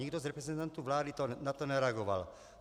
Nikdo z reprezentantů vlády na to nereagoval.